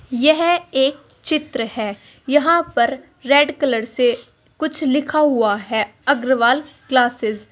यह एक चित्र है यहां पर रेड कलर से कुछ लिखा हुआ है अग्रवाल क्लासेस ।